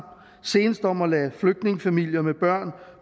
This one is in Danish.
senest om at lade flygtningefamilier med børn